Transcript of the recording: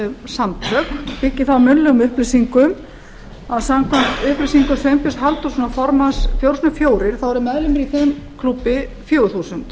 samtök og byggi það á munnlegum upplýsingum að samkvæmt upplýsingum sveinbjörns halldórssonar formanns fjögurra fjögur þá eru meðlimir í þeim klúbbi fjögur þúsund